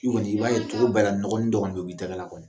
I kɔni i b'a ye tulo bɛɛ nɔgɔnin dɔ kɔni bɛ bɔ i tɛgɛla kɔni